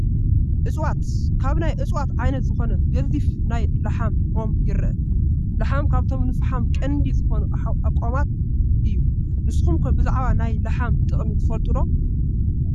እፀዋት፡- ካብ ናይ እፀዋት ዓይነት ዝኾነ ገዚፍ ናይ ላሓይ ኦም ይረአ፡፡ ላሓይ ካብቶም ንፈሓም ቀንዲ ዝኾኑ ኣእዋማት እዩ፡፡ ንስኹም ከ ብዛዕባ ናይ ላሓይ ጥቕሚ ትፈልጥዎ ዶ ኣሎ?